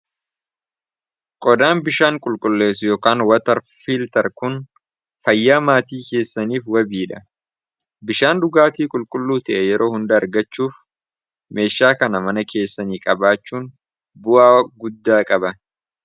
Qodaan bishaan qulqulleess yookaan watar fiiltar kun fayyaa maatii keessaniif wabiidha bishaan dhugaatii qulqulluu ta'e yeroo hunda argachuuf meeshaa kana mana keessanii qabaachuun bu'aa guddaa qaba.